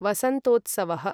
वसन्तोत्सवः